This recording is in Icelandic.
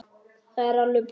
Það er alveg búið.